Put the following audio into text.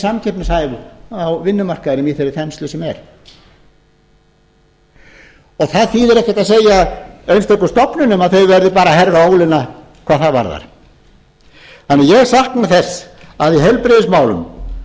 samkeppnishæf á vinnumarkaðinum í þeirri þenslu sem er það þýðir ekkert að segja einstöku stofnunum að þau verði bara að herða ólina hvað það varðar þannig að ég sakna þess að í